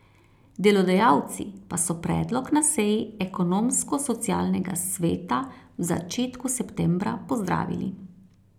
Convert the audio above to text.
Delodajalci pa so predlog na seji Ekonomsko socialnega sveta v začetku septembra pozdravili.